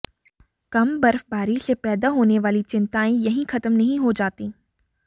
कम बर्फबारी से पैदा होने वाली चिंताएं यहीं खत्म नहीं हो जाती